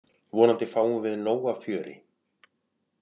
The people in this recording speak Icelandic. Vonandi fáum við nóg af fjöri.